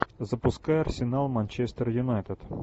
запускай арсенал манчестер юнайтед